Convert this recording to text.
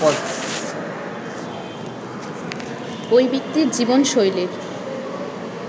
ঐ ব্যক্তির জীবনশৈলীর